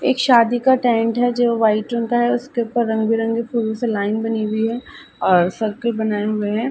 एक शादी का टेंट है जो वाइट रंग का है उसके उपर रंग बिरंगी फूलो से लाइन बनी हुई है और सरकल बनाये हुए हैं।